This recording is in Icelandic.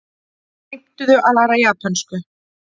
Heimtuðu að læra japönsku